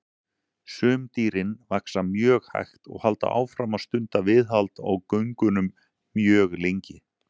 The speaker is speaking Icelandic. Sum dýrin vaxa mjög hægt og halda áfram að stunda viðhald á göngunum mjög lengi.